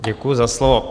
Děkuji za slovo.